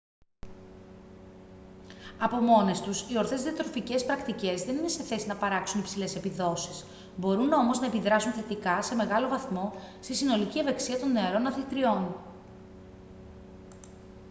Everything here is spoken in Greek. από μόνες τους οι ορθές διατροφικές πρακτικές δεν είναι σε θέση να παράξουν υψηλές επιδόσεις μπορούν όμως να επιδράσουν θετικά σε μεγάλο βαθμό στη συνολική ευεξία των νεαρών αθλητριών